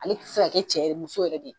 Ale tɛ se ka cɛ muso yɛrɛ de ye